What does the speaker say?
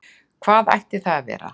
Hvað ætti það að vera?